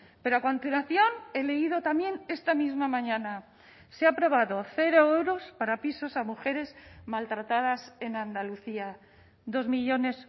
pero a continuación he leído también esta misma mañana se ha aprobado cero euros para pisos a mujeres maltratadas en andalucía dos millónes